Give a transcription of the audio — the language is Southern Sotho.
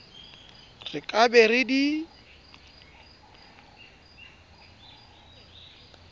re ka be re di